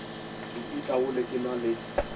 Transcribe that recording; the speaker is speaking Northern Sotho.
ke itaole ke na le